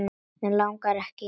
Mig langar ekki í neitt.